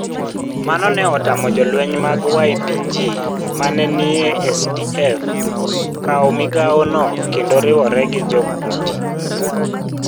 Mano ne otamo jolweny mag YPG ma ne nie SDF kawo migawono kendo riwore gi Jo-Kurd.